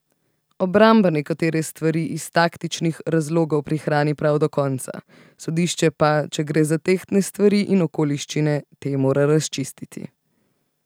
Obramba nekatere stvari iz taktičnih razlogov prihrani prav do konca, sodišče pa, če gre za tehtne stvari in okoliščine, te mora razčistiti.